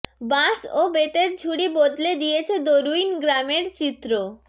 বাঁশ ও বেতের ঝুড়ি বদলে দিয়েছে দরুইন গ্রামের চিত্র